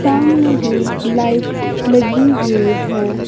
सामने ही लाइट लगी हुई है।